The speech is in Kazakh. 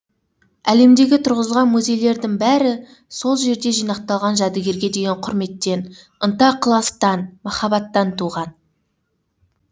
әлемдегі тұрғызылған музейлердің бәрі сол жерде жинақталған жәдігерге деген құрметтен ынта ықыластан махаббаттан туған